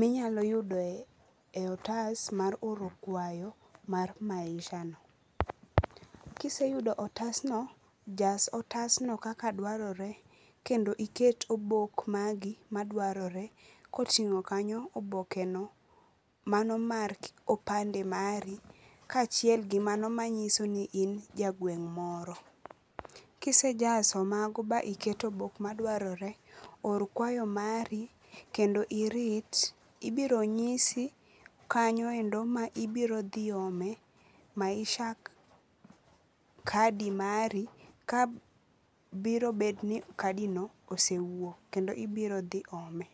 minyalo yudo e otas mar oro kwayo mar Misha no. Kiseyudo otas no, jas otas no kaka dwarore kendo iket obok magi madwarore kotingo kanyo obokeno mar opande mari kachiel gi mano manyisoni in ja gweng moro. Kisejaso mago ma iketo obok ma dwarore, or kwayo mari kendo irit ibiro nyisi kanyoendo ma ibiro dhi ome Maisha kadi mari kabiro bet ni kadi no osewuok kendo ibiro dhi ome